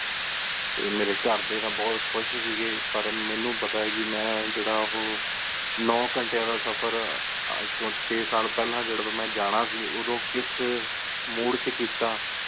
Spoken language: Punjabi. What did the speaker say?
ਟੀ ਮੇਰੀ ਘਰ ਡੀ ਬੋਹਤ ਖੁਸ਼ ਸੀ ਗੀ ਪਰ ਮਨੁ ਪਤਾ ਹੈ ਕ ਮੇਂ ਜੇਰਾ ਹੁਣ ਨਿਨੇ ਗੰਤ੍ਯਾ ਦਾ ਸਫ਼ਰ ਅਜੇ ਤੋ ਚੇ ਸਾਲ ਪੇਹ੍ਲਾਂ ਜਦੋਂ ਮੇਂ ਜਾਣਾ ਸੀ ਓਹ੍ਦੁ ਕਿਸ Mood ਏਚ ਕੀਤਾ